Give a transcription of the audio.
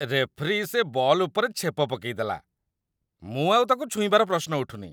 Referee, ସେ ball ଉପରେ ଛେପ ପକେଇଦେଲା । ମୁଁ ଆଉ ତା'କୁ ଛୁଇଁବାର ପ୍ରଶ୍ନ ଉଠୁନି ।